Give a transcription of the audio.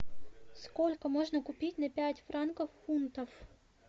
сколько можно купить на пять франков фунтов